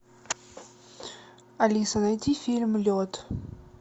алиса найди фильм лед